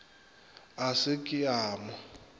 a se ke a mo